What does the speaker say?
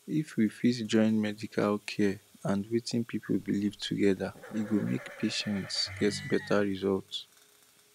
if we fit join medical care and wetin people believe together e go make patients get better result